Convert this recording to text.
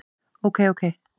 Ok ok.